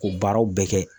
K'o baaraw bɛɛ kɛ